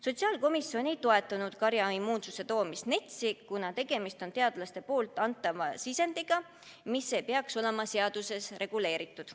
Sotsiaalkomisjon ei toetanud karjaimmuunsuse toomist NETS-i, kuna tegemist on teadlaste antava sisendiga, mis ei peaks olema seaduses reguleeritud.